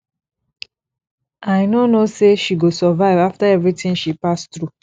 i no know say she go survive after everything she pass through